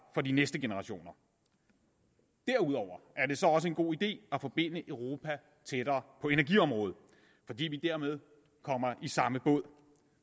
for de næste generationer derudover er det så også en god idé at forbinde europa tættere på energiområdet fordi vi dermed kommer i samme båd